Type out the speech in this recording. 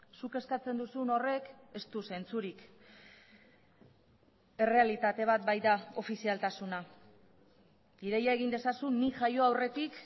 zuk eskatzen duzun horrek ez du zentzurik errealitate bat baita ofizialtasuna ideia egin dezazun nik jaio aurretik